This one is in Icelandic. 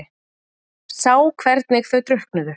Sá hvernig þau drukknuðu.